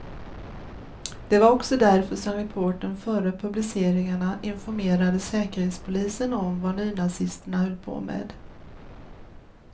Det var också därför som reportern före publiceringarna informerade säkerhetspolisen om vad nynazisterna höll på med.